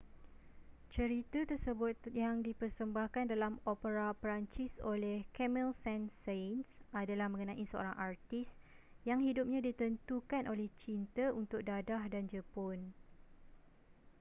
cerita tersebut yang dipersembahkan dalam opera perancis oleh camille saint-saens adalah mengenai seorang artis yang hidupnya ditentukan oleh cinta untuk dadah dan jepun